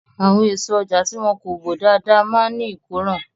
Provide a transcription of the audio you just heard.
Àwọn èso ọjà tí wọn kò bò dáadáa máa ní ìkóràn.